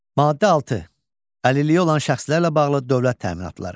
Maddə 6. Əlilliyi olan şəxslərlə bağlı dövlət təminatları.